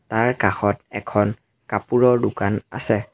তাৰ কাষত এখন কাপোৰৰ দোকান আছে।